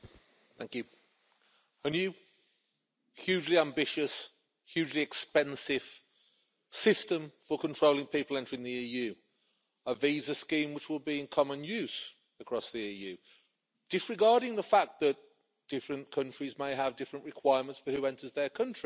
Mr President, this is a new, hugely ambitious, hugely expensive system for controlling people entering the EU, a visa scheme which will be in common use across the EU, disregarding the fact that different countries may have different requirements as to who enters their country